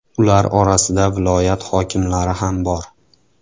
Ular orasida viloyat hokimlari ham bor.